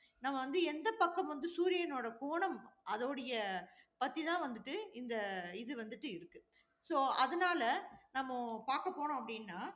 நம்ம வந்து எந்த பக்கம் வந்து சூரியனுடைய கோணம், அதுடைய பத்தி தான் வந்துட்டு, இந்த இது வந்துட்டு இருக்கு. so அதனால, நம்ம பாக்க போறோம் அப்படினா,